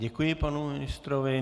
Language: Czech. Děkuji panu ministrovi.